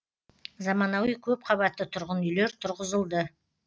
заманауи көпқабатты тұрғын үйлер тұрғызылды